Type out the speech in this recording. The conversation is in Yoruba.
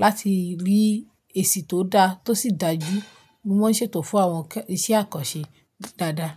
láti rí èsì tó dá tó sì dájú. Mo máa ń ṣètò fún àwọn iṣẹ́ àkànṣe dáadáa.